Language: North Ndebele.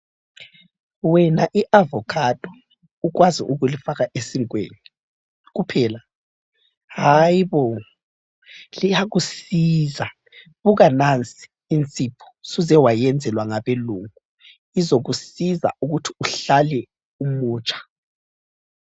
Wena iavocado, ukwazi ukulifaka esinkweni, kuphela. Hayibo! Liyakusiza, bukananzi insipho, suze wayenzelwa ngabelungu. Izokusiza ukuthi uhlale umutsha.